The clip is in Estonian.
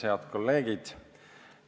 Head kolleegid!